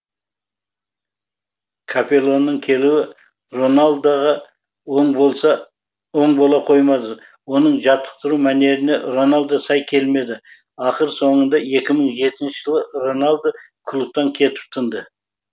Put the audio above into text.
капеллоның келуі роналдоға оң бола қоймады оның жаттықтыру мәнеріне роналдо сай келмеді ақыр соңында жылы роналдо клубтан кетіп тынды